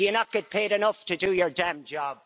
Do you not get paid enough to do your damn job?